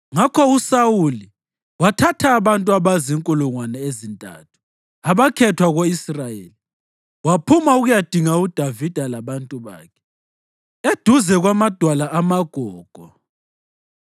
Ngakho uSawuli wathatha abantu abazinkulungwane ezintantu abakhethwa ko-Israyeli waphuma ukuyadinga uDavida labantu bakhe eduze kwamadwala amaGogo.